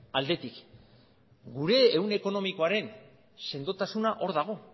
aldetik gure ehun ekonomikoaren sendotasuna hor dago